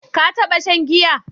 Ka taɓa shan giya?